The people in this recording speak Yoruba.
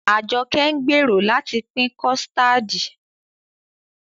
Ajoke ń gbèrò láti pín kọ̀stáádì